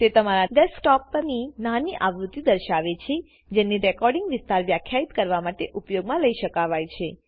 તે તમારા ડેસ્કટોપ ની નાની આવૃત્તિ દર્શાવે છે જેને રેકોર્ડીંગ વિસ્તાર વ્યાખ્યિત કરવા માટે ઉપયોગમાં લઇ શકાવાય છે